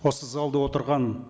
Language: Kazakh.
осы залда отырған